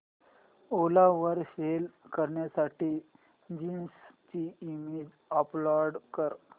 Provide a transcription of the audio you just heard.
ओला वर सेल करण्यासाठी जीन्स ची इमेज अपलोड कर